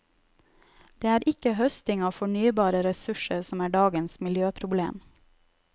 Det er ikke høsting av fornybare ressurser som er dagens miljøproblem.